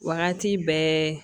Wagati bɛɛ